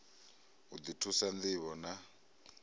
u ḓi thusa ṋdivho na